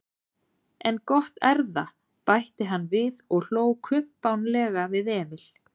En gott erða, bætti hann við og hló kumpánlega við Emil.